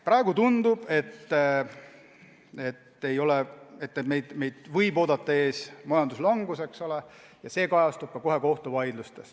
Praegu tundub, et meid ootab ees majanduslangus, ja eks see kajastub kohe ka kohtuvaidlustes.